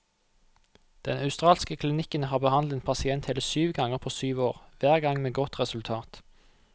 Den australske klinikken har behandlet en pasient hele syv ganger på syv år, hver gang med godt resultat.